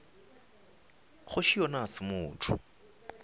kgoši yona ga se motho